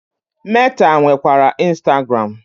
Meta nwekwara Instagram.